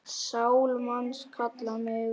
Sál manns kalla megum.